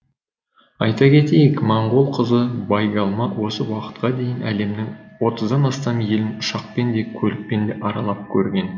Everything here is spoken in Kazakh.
айта кетейік моңғол қызы байгалма осы уақытқа дейін әлемнің отыздан астам елін ұшақпен де көлікпен де аралап көрген